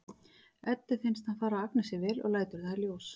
Eddu finnst hann fara Agnesi vel og lætur það í ljós.